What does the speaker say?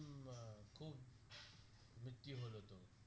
মৃত্যু হলো তো